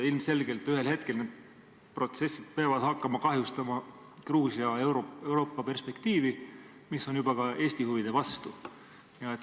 Ilmselgelt ühel hetkel need protsessid peavad hakkama kahjustama Gruusia Euroopa-perspektiivi ja see juba ka Eesti huvide vastu.